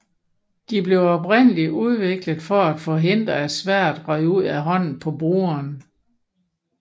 De blev oprindeligt udviklet for at forhindre at sværdet røg ud af hånden på brugeren